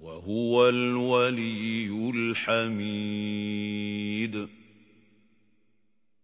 وَهُوَ الْوَلِيُّ الْحَمِيدُ